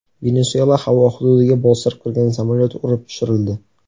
Venesuela havo hududiga bostirib kirgan samolyot urib tushirildi.